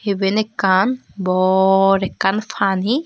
iban ekkan bor ekkan pani.